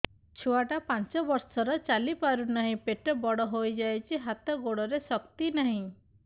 ଛୁଆଟା ପାଞ୍ଚ ବର୍ଷର ଚାଲି ପାରୁ ନାହି ପେଟ ବଡ଼ ହୋଇ ଯାଇଛି ହାତ ଗୋଡ଼ରେ ଶକ୍ତି ନାହିଁ